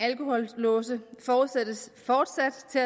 alkohollåse forudsættes fortsat